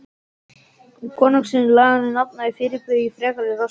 Í konungsins og laganna nafni fyrirbýð ég frekari róstur!